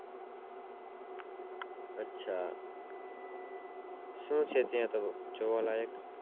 આછા શું છે ત્યાં જોવા લાયક